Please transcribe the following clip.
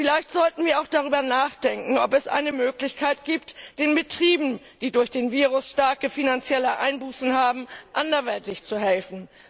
Vielleicht sollten wir auch darüber nachdenken, ob es eine Möglichkeit gibt, den Betrieben, die durch den Virus starke finanzielle Einbußen haben, anderweitig zu helfen.